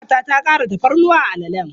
Ƙanwata ta ƙara tafarnuwa a alalen.